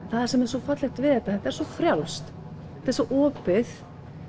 það sem er svo fallegt við þetta þetta er svo frjálst þetta er svo opið